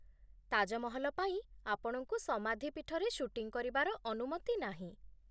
ତାଜମହଲ ପାଇଁ, ଆପଣଙ୍କୁ ସମାଧି ପୀଠରେ ସୁଟିଂ କରିବାର ଅନୁମତି ନାହିଁ।